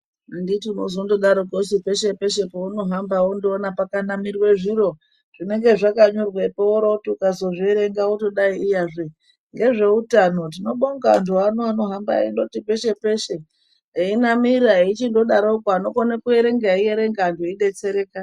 Anditi unozondidarokwo su peshe peshe peunohamba pakanamirwe zviro zvinenge zvakanyorwepo woroti ukazozvieerenga iyazve ngezveutano tinobonga antu ano anohamba eindoti peshe peshe einamira eichindodatokwo anokone kuerenga eierenga antu eidetsereka..